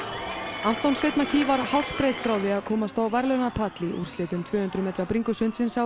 Anton Sveinn McKee var hársbreidd frá því að komast á verðlaunapall í úrslitum tvö hundruð metra bringusundsins á